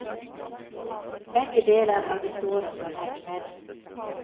Begge deler er vi såre fornøyd med.